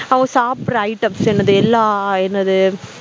அவங்க சாபிடுற items என்னது எல்லாம் என்னது